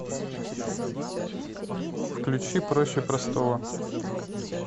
включи проще простого